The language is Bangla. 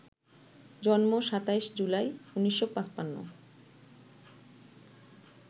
জন্ম ২৭ জুলাই, ১৯৫৫